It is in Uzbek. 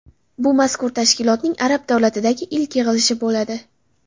Bu mazkur tashkilotning arab davlatidagi ilk yig‘ilishi bo‘ladi.